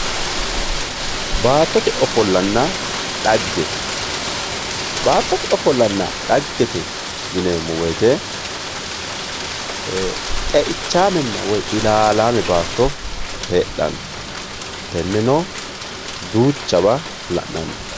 Baatote ofolanna xagge, baattotte ofolanna xaggete yineemo woyite xe'ichamenna woyi illallame baatto heedhano teneno duuchawa la'nanni.